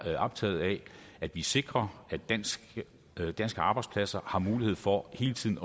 optaget af at vi sikrer at danske arbejdspladser har mulighed for hele tiden